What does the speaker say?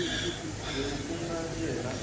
loyi ku nga yena a